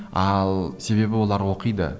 ал себебі олар оқиды